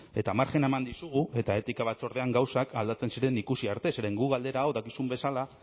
eta marjina eman dizugu eta etika batzordean gauzak aldatzen ziren ikusi arte zeren guk galdera hau dakizun bezala